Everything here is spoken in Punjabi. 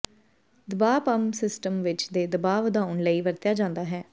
ਦਬਾਅ ਪੰਪ ਸਿਸਟਮ ਵਿੱਚ ਦੇ ਦਬਾਅ ਵਧਾਉਣ ਲਈ ਵਰਤਿਆ ਜਾਦਾ ਹੈ